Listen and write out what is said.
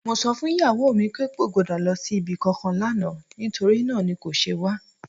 Mo sọ fún ìyàwó mi pé kò gbọ́dọ̀ lọ sí ibi kankan lánàá, nítorí náà ni kò ṣe wá.